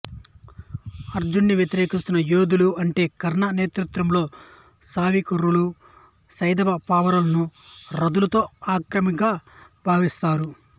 అర్జునుడిని వ్యతిరేకిస్తున్న యోధులు అంటే కర్ణ నేతృత్వంలోని సౌవిరకులు సైంధవపౌరవులను రధులలో అగ్రగామిగా భావిస్తారు